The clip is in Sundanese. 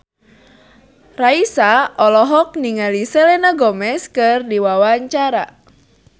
Raisa olohok ningali Selena Gomez keur diwawancara